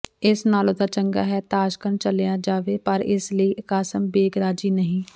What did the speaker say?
ਇਸ ਨਾਲੋਂ ਤਾਂ ਚੰਗਾ ਹੈ ਤਾਸ਼ਕੰਦ ਚਲਿਆ ਜਾਵਾਂ ਪਰ ਇਸ ਲਈ ਕਾਸਿਮ ਬੇਗ਼ ਰਾਜ਼ੀ ਨਹੀਂ